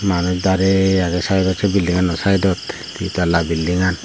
manuj darey agey se saidot bildingano saidod di talla beldingan.